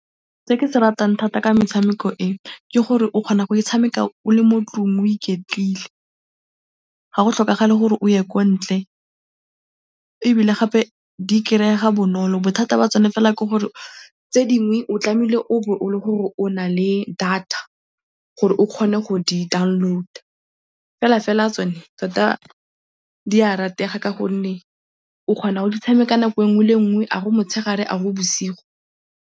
Se ke se ratang thata ka metshameko e ke gore o kgona go e tshameka o le mo 'tlong o iketlile, ga go tlhokagale gore o ye kwa ntle ebile gape di kry-ega bonolo. Bothata jwa tsone fela ke gore tse di nngwe o tlamehile o bo o le gore o na le data gore o kgone go di download-a, felafela tsone tota di a ratega ka gonne o kgona go di tshameka nako e nngwe le e nngwe, a go motshegare, a go bosigo.